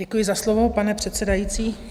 Děkuji za slovo, pane předsedající.